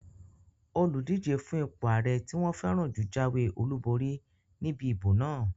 Olùdíjé fún ipò ààrẹ tí wọ́n fẹ́ràn jù jáwé olùborí níbi ìbò náà